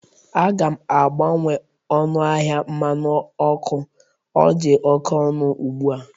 Aga m abawanye ọnụ ahịa mmanụ ọkụ, ọ dị oke ọnụ ugbu a